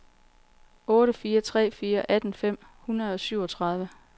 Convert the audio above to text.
otte fire tre fire atten fem hundrede og syvogtredive